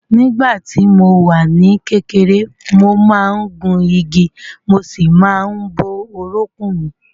Nígbà tí mo wà ní kékeré, mo máa ń gun igi mo sì máa ń bó orúnkún mi